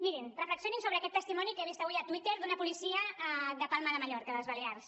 mirin reflexionin sobre aquest testimoni que he vist avui a twitter d’una policia de palma de mallorca de les balears